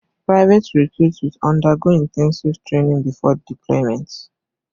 Private recruits will undergo intensive training before deployment